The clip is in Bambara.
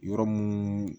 Yɔrɔ mun